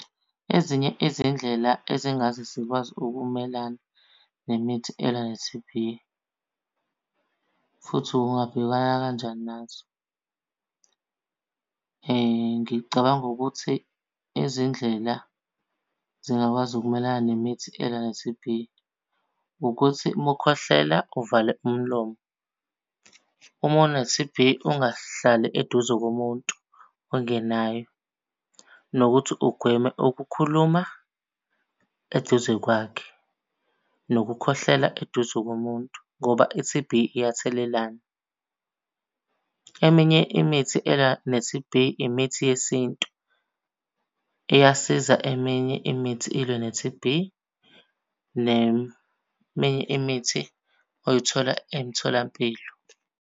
Ezinye izindlela ezingaze zikwazi ukumelana nemithi elwa ne-T_B futhi ungabhekana kanjani nazo. Ngicabanga ukuthi izindlela zingakwazi ukumelana nemithi elwa ne-T_B, ukuthi uma ukhwehlela uvale umlomo. Uma une-T_B, ungahlali eduze komuntu ongenayo, nokuthi ugweme ukukhuluma eduze kwakhe, nokukhwehlela eduze komuntu ngoba i-T_B iyathelelana. Eminye imithi elwa ne-T_B, imithi yesintu, iyasiza eminye imithi ilwe ne-T_B neminye imithi oyithola emtholampilo.